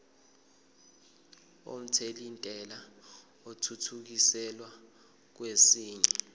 omthelintela athuthukiselwa kwesinye